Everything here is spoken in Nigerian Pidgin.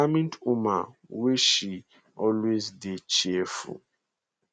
na determined woman wey she always dey cheerful